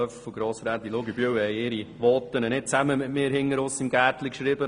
Löffel und Grossrätin Luginbühl haben ihre Voten nicht gemeinsam mit mir im Gärtchen geschrieben.